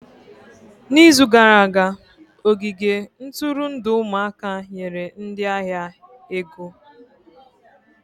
N'izu gara aga, ogige nturundu ụmụaka nyere ndị ahịa ego ego.